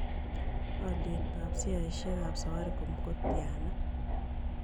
Alyetap sheisiakap safaricom ko tyana